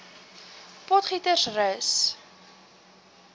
potgietersrus